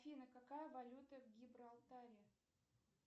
афина какая валюта в гибралтаре